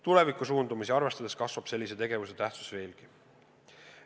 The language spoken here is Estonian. Tulevikusuundumusi arvestades kasvab sellise tegevuse tähtsus veelgi.